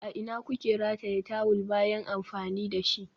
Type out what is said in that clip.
A ina kuke rataye tawul bayan amfani da shi?